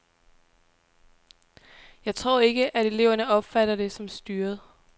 Jeg tror ikke, at eleverne opfatter det som styret.